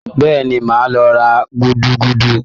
Bẹ́ẹ̀ni, màá lọ ra gúdúgúdú?